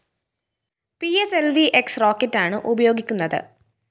P S L V X റോക്കറ്റാണ് ഉപയോഗിക്കുന്നത്